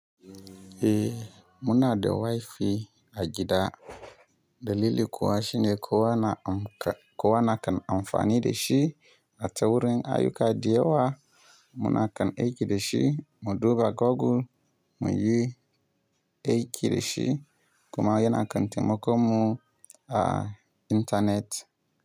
Eh, muna da WiFi a gida. Dalili kuwa shine kowa na, kowa na kan amfani da shi. A ta wurin ayyuka da yawa muna kan aiki da shi, mu duba Google mu yi aiki da shi kuma yana kan taimakon mu a intanet.